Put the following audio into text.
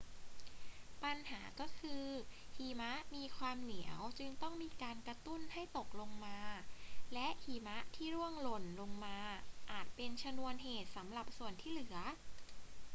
ปัญหาก็คือหิมะมีความเหนียวจึงต้องมีการกระตุ้นให้ตกลงมา และหิมะที่ร่วงหล่นลงมาอาจเป็นชนวนเหตุสำหรับส่วนที่เหลือ